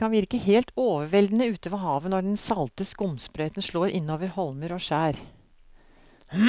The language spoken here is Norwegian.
Det kan virke helt overveldende ute ved havet når den salte skumsprøyten slår innover holmer og skjær.